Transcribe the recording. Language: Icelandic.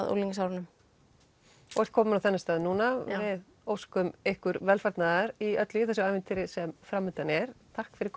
á unglingsárunum og ert komin á þennan stað núna já við óskum ykkur velfarnaðar í öllu í þessu ævintýri sem framundan er takk fyrir